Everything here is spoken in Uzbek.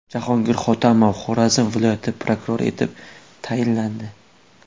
Jahongir Hotamov Xorazm viloyati prokurori etib tayinlandi.